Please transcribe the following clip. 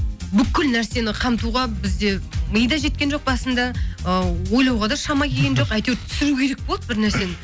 бүкіл нәрсені қамтуға бізде ми де жеткен жоқ басында ы ойлауға да шама келген жоқ әйтеуір түсіру керек болды бір нәрсені